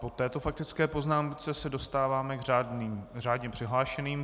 Po této faktické poznámce se dostáváme k řádně přihlášeným.